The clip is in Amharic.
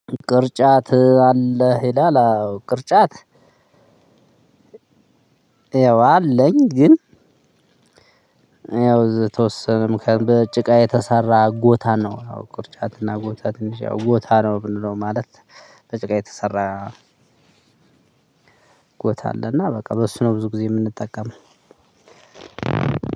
ቅርጫት አለህ? ይላል አዎ ቅርጫት ያው አለኝ ግን ያው ተወሰነም ከጭቃ የተሰራ ጎታ ነው። አዎ ቅርጫትና ጎታ ትንሽ ያው ጎታ ነው ምንለው ማለት በጭቃ የተሰራ ጎታ አለና በቃ በሱ ነው ብዙ ጊዜ የምንጠቀመው